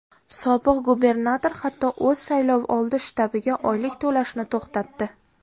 Sobiq gubernator, hatto, o‘z saylovoldi shtabiga oylik to‘lashni to‘xtatdi.